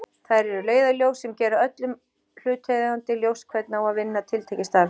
Þær eru leiðarljós sem gera öllum hlutaðeigandi ljóst hvernig á að vinna tiltekið starf.